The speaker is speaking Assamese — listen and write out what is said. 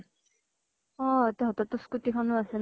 অ । তহঁতৰ তো স্কূতি খনো আছে ন ?